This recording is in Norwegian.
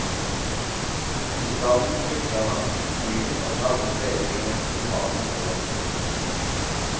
I skam flykter han byen og tar opp letingen etter sin fars morder. punktum